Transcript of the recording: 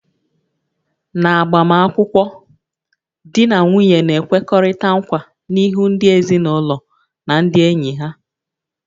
N'agbamakwụkwọ, di na nwunye na-ekwekọrịta nkwa n'ihu ndị ezinụlọ na ndị enyi ha